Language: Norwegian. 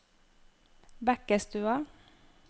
Bekkestua